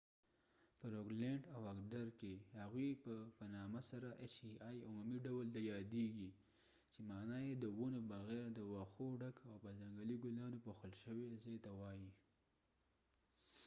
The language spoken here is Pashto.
په روګلیند او اګدر کې هغوی په عمومي ډول د hei په نامه سره یادیږي چې معنې یې د ونو بغیر د وښو ډک او په ځنګلي ګلانو پوښل شوي ځای ته وایي